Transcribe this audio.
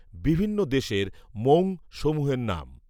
বিভিন্ন দেশের মৌঙ সমূহের নাম